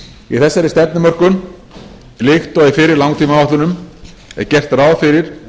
í þessari stefnumörkun líkt og í fyrri langtímaáætlunum er gert ráð fyrir